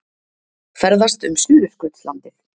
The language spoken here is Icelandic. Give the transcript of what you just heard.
Ferðast um Suðurskautslandið